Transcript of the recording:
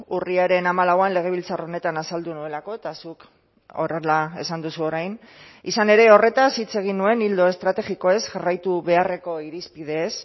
urriaren hamalauan legebiltzar honetan azaldu nuelako eta zuk horrela esan duzu orain izan ere horretaz hitz egin nuen ildo estrategikoez jarraitu beharreko irizpideez